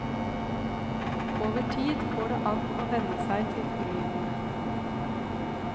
Over tid går det an å venne seg til ulydene.